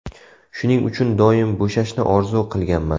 Shuning uchun doim bo‘shashni orzu qilganman.